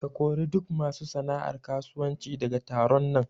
Ka kori duk masu sana'ar karuwanci daga taron nan!